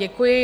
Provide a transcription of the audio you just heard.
Děkuji.